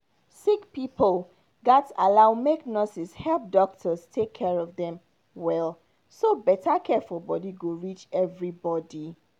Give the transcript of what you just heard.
sick pipo gats allow make nurses help doctors take care of them well so better care for body go reach everybody.